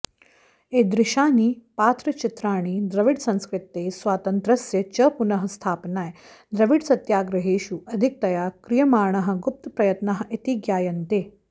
ईदृशानि पात्रचित्रणानि द्रविडसंस्कृतेः स्वातन्त्र्यस्य च पुनः स्थापनाय द्रविडसत्याग्रहेषु अधिकतया क्रियमाणाः गुप्तप्रयत्नाः इति ज्ञायन्ते